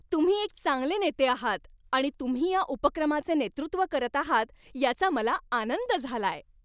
तुम्ही एक चांगले नेते आहात आणि तुम्ही या उपक्रमाचे नेतृत्व करत आहात याचा मला आनंद झालाय.